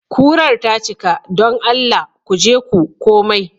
Kurar ta cika. don Allah ku je ku komai.